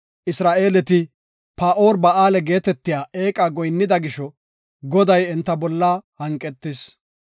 Isra7eeleti Bi7eel-Fagoora geetetiya eeqa goyinnida gisho Goday enta bolla hanqetis.